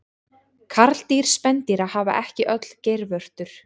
karldýr spendýra hafa ekki öll geirvörtur